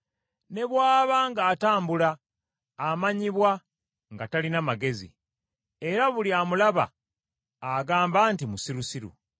Ne bw’aba ng’atambula, amanyibwa nga talina magezi, era buli amulaba agamba nti musirusiru.